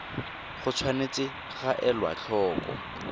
go tshwanetse ga elwa tlhoko